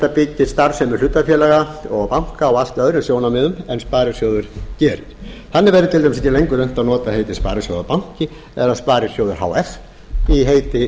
byggist starfsemi hlutafélaga og banka á allt öðrum sjónarmiðum en sparisjóður gerir þannig verði til dæmis ekki lengur unnt að nota heitið sparisjóðabanki eða sparisjóður h f í heiti